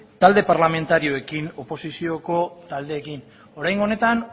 talde parlamentarioekin oposizioko taldeekin oraingo honetan